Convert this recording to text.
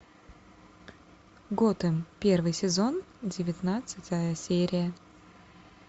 готэм первый сезон девятнадцатая серия